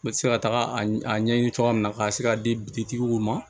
N bɛ se ka taga a ɲɛɲini cogoya min na ka se k'a di bitigiw ma